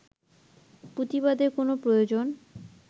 প্রতিবাদের কোন প্রয়োজন